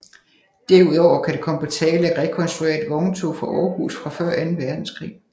Derudover kan det komme på tale at rekonstruere et vogntog fra Aarhus fra før anden verdenskrig